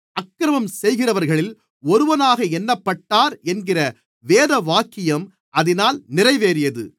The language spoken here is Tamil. அக்கிரமம் செய்கிறவர்களில் ஒருவனாக எண்ணப்பட்டார் என்கிற வேதவாக்கியம் அதினால் நிறைவேறியது